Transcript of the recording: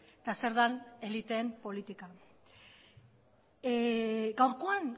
eta zer den eliteen politika gaurkoan